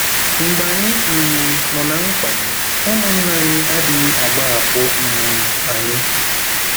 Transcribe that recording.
Mgbe anyị um nọ ná mkpa, ụmụnna anyị adịghị agbahapụ um anyị.